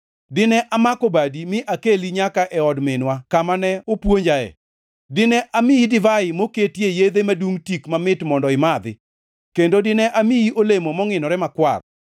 Dine amako badi, mi akeli nyaka e od minwa kama ne opuonjae. Dine amiyi divai moketie yedhe madungʼ tik mamit mondo imadhi; kendo dine amiyi olemo mongʼinore makwar.